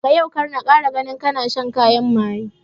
Daga yau kar na kara ganin kana shan kayan maye